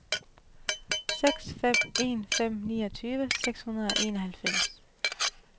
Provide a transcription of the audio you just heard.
seks fem en fem niogtyve seks hundrede og enoghalvfems